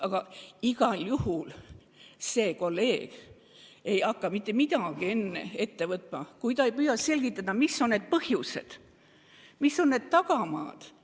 Aga igal juhul ei hakka minu kolleeg mitte midagi enne ette võtma, kui ta pole püüdnud välja selgitada, mis on need põhjused, mis on need tagamaad.